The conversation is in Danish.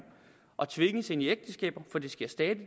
og tvinges ind i ægteskaber for det sker